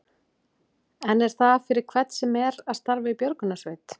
En er það fyrir hvern sem er að starfa í björgunarsveit?